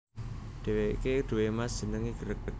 Dheweke duwé Mas jenenge Greg